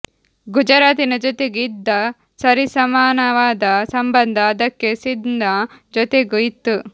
ಗುಜರಾತಿನ ಜೊತೆಗೆ ಇದ್ದ ಸರಿಸಮಾನವಾದ ಸಂಬಂಧ ಅದಕ್ಕೆ ಸಿಂಧ್ನ ಜೊತೆಗೂ ಇತ್ತು